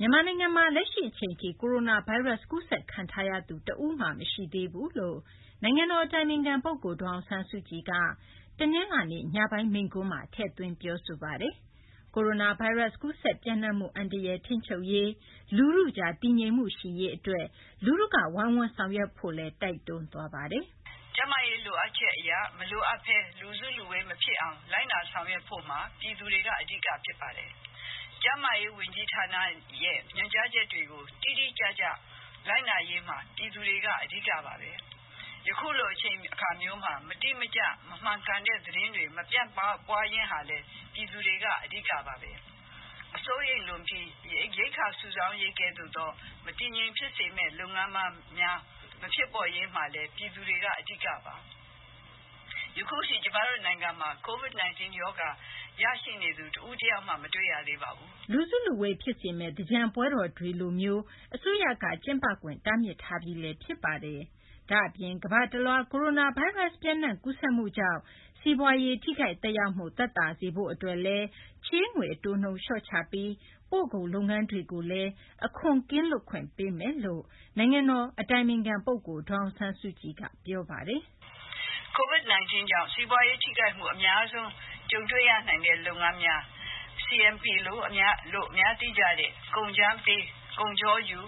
မြန်မာနိုင်ငံမှာ လက်ရှိ အချိန်ထိ ကိုရိုနာဗိုင်းရပ်စ် ကူးစက်ခံထားရသူ တဦးမှ မရှိသေးကြောင်း နိုင်ငံတော် အတိုင်ပင်ခံ ပုဂ္ဂိုလ် ဒေါ်အောင်ဆန်းစုကြည်က တနလာၤနေ့ ညပိုင်း မိန့်ခွန်းမှာ ထည့်သွင်း ပြောဆိုသွားပါတယ်။ ကိုရိုနာဗိုင်းရပ်စ် ကူးစက် ပျံ့နှံ့မှု အန္တရာယ်ကို ထိန်းချုပ်ရေး၊ လူထုကြား တည်ငြိမ်မှု ရှိရေးအတွက် လူထုက ဝိုင်းဝန်း ဆောင်ရွက်ကြဖို့လည်း တိုက်တွန်းသွားပါတယ်။ "ကျန်းမာရေးလိုအပ်ချက်အရ မလိုအပ်ဘဲ လူစုလူဝေးမဖြစ်အောင် လိုက်နာဆောင်ရွက်ဖို့မှာ ပြည်သူတွေက အဓိက ဖြစ်ပါတယ်။ ကျန်းမာရေးဝန်ကြီးဌာနရဲ့ ညွှန်ကြားချက်တွေကို တိတိကျကျ လိုက်နာရေးမှာ ပြည်သူတွေက အဓိကပါပဲ။ ယခုလို အချိန်အခါမျိုးမှာ မတိမကျ မမှန်ကန်တဲ့သတင်းတွေ မပြန့်ပွားရေးဟာလည်း ပြည်သူတွေက အဓိကပါပဲ။ စိုးရိမ်လွန်ပြီး ရိက္ခာစုဆောင်းရေးကဲ့သို့သော မတည်မငြိမ်ဖြစ်စေမယ့် လုပ်ငန်းများ မဖြစ်ပေါ်ရေးမှာလည်း ပြည်သူတွေက အဓိကပါ။ ယခုထိ ကျမတို့ နိုင်ငံမှာ Covid-19 ရောဂါ ရရှိနေသူ တဦးတယောက်မှ မတွေ့ရသေးပါဘူး။" လူစုလူဝေး ဖြစ်စေမယ့် သင်္ကြန်ပွဲတော်တွေကိုလည်း အစိုးရက ကျင်းပခွင့် တားမြစ်ထားပြီး ဖြစ်ပါတယ်။ ဒါ့အပြင် ကမ္ဘာတလွှား ကိုရိုနာဗိုင်းရပ်စ် ပျံ့နှံ့ ကူးစက်မှုကြောင့် စီးပွားရေး ထိခိုက်သက်ရောက်မှု သက်သာစေရေးအတွက်လည်း ချေးငွေ အတိုးနှုန်း လျှော့ချပေးပြီး ပို့ကုန် လုပ်ငန်းများအတွက်လည်း အခွန် ကင်းလွတ်ခွင့်ပေးမယ်လို့ နိုင်ငံတော် အတိုင်ပင်ခံ ပုဂ္ဂိုလ် ဒေါ်အောင်ဆန်းစုကြည်က မိန့်ခွန်းမှာ ပြောဆိုသွားပါတယ်။ "Covid-19 ကြောင့် စီးပွားရေးထိခိုက်မှု အများဆုံး ကြုံတွေ့ရနိုင်တဲ့ လုပ်ငန်းများ CNP လို့ အများသိကျတဲ့ ကုန်းကြမ်းပေး ကုန်ချောယူ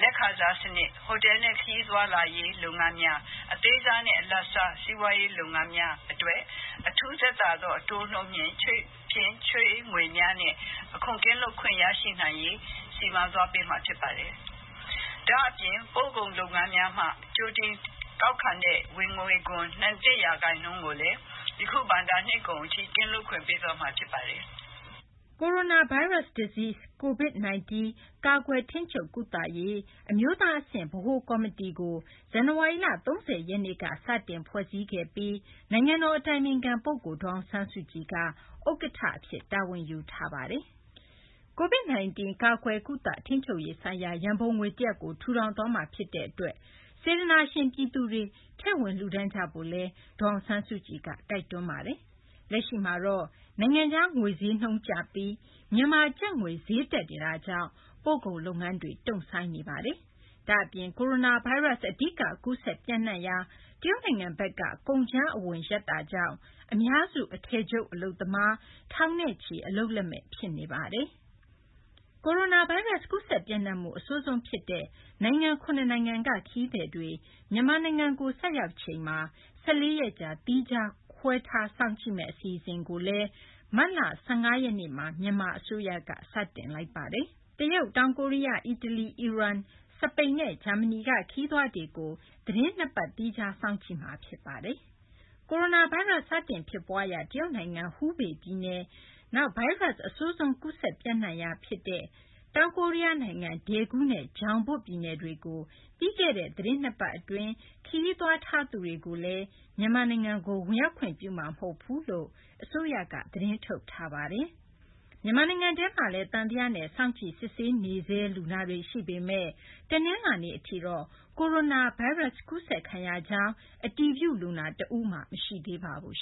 လက်ခံစားစနစ်၊ ဟိုတယ်နဲ့ ခရီးသွားလာရေးလုပ်ငန်းများ၊ အသေးစားနဲ့ အလတ်စား စီးပွားရေးလုပ်ငန်းများအတွက် အထူးသက်သာသောအတိုးနှုန်း ချေးငွေများနဲ့ အခွန်ကင်းလွတ်ခွင့် ရရှိနိုင်ရေး စီမံသွားပေးမှာ ဖြစ်ပါတယ်။ ဒါ့အပြင် ပို့ကုန်လုပ်ငန်းများမှ ကြိုတင်ကောက်ခံတဲ့ ဝင်ငွေခွန် နှစ်ရာခိုင်နှုန်းကိုလည်း ယခု ဘဏ္ဍာနှစ်ကုန်အထိ ကင်းလွတ်ခွင့်ပေးသွားမှာ ဖြစ်ပါတယ်။" Coronavirus Disease (Covid-19) ကာကွယ်၊ ထိန်းချုပ်၊ ကုသရေး အမျိုးသားအဆင့် ဗဟိုကော်မီတီကို ဇန်နဝါရီလ ၃၀ ရက်နေ့က စတင်ဖွဲ့စည်းခဲ့ပြီး နိုင်ငံတော်အတိုင်ပင်ခံပုဂ္ဂိုလ် ဒေါ်အောင်ဆန်းစုကြည်က ဥက္ကဋ္ဌအဖြစ် တာဝန်ယူထားပါတယ်။ Covid-19 ကာကွယ်၊ ကုသ ထိန်းချုပ်ရေးဆိုင်ရာ ရန်ပုံငွေတရပ်ကို ထူထောင်သွားမှာ ဖြစ်တဲ့အတွက် စေတနာရှင် ပြည်သူတွေက ထည့်ဝင် လှုဒါန်းကြဖို့လည်း ဒေါ်အောင်ဆန်းစုကြည်က တိုက်တွန်းထားပါတယ်။ လက်ရှိ အနေအထားမှာတော့ နိုင်ငံခြား ငွေဈေးနှုန်းကျပြီး မြန်မာ ကျပ်ငွေ ဈေးနှုန်း တက်နေတာကြောင့် ပို့ကုန်လုပ်ငန်းတွေ တုံ့ဆိုင်းနေပါတယ်။ ဒါ့အပြင် ကိုရိုနာဗိုင်းရပ်စ် အဓိက ကူးစက် ပျံ့နှံ့ရာ တရုတ်နိုင်ငံဘက်က ကုန်ကြမ်းအဝင် ရပ်သွားတာကြောင့် အများစု အထည်ချုပ် အလုပ်သမား ထောင်နဲ့ချီ အလုပ်လက်မဲ့ ဖြစ်နေပါတယ်။ တရုတ်၊ တောင်ကိုရီးယား၊ အီတလီ၊ အီရန်၊ စပိန် နဲ့ ဂျာမနီက ခရီးသွားတွေကို သီးတင်း ၂ ပတ် သီးခြားစောင့်ကြည့်တာ ဖြစ်ပါတယ်။ ကိုရိုနာဗိုင်းရပ်စ် စတင် ဖြစ်ပွားရာ တရုတ်နိုင်ငံ ဟူဘေး ပြည်နယ်၊ နောက် ဗိုင်းရပ်စ် အဆိုးဆုံး ကူးစက်ပျံ့နှံ့ရာ ဒေသ တခုဖြစ်တဲ့ တောင်ကိုရီးယားနိုင်ငံ ဒယ်ဂူးနဲ့ ဂျောင်ဘွတ် ပြည်နယ်တွေကို ပြီးခဲ့တဲ့ သီတင်း ၂ ပတ် အတွင်း ခရီးသွားတဲ့ သူတွေကိုတော့ မြန်မာနိုင်ငံကို ဝင်ရောက်ခွင့်ပြုမှာ မဟုတ်ဘူးလို့ အစိုးရက သတင်းထုတ်ထားပါတယ်။ မြန်မာနိုင်ငံထဲမှာလည်း သံသယနဲ့ စောင့်ကြည့် စစ်ဆေးနေဆဲ လူနာတွေ ရှိပေမဲ့ တနလာၤနေ့ အထိတော့ ကိုရိုနာဗိုင်းရပ်စ် ကူးစက်ခံရကြောင်း အတည်ပြု လူနာ တဦးမှ မရှိသေးပါဘူး